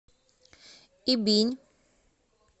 ибинь